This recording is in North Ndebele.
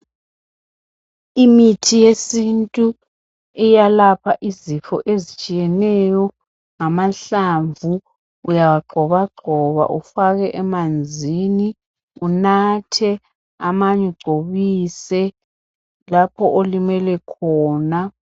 Imithi yesintu iyalapha izifo ezitshiyeneyo ngamahlamvu. Uyawagxobagxoba ufake emanzini, unathe amanye ugcobise lapho olimele khona.